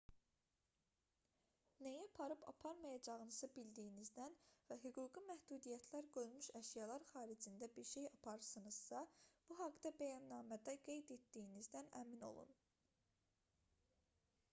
nəyi aparıb-aparmayacağınızı bildiyinizdən və hüquqi məhdudiyyətlər qoyulmuş əşyalar xaricində bir şey aparırsınızsa bu haqda bəyannamədə qeyd etdiyinizdən əmin olun